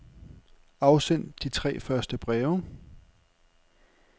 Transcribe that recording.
Afsend de tre første breve.